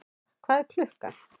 Eldþóra, hvað er klukkan?